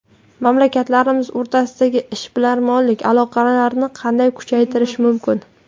Mamlakatlarimiz o‘rtasidagi ishbilarmonlik aloqalarini qanday kuchaytirish mumkin?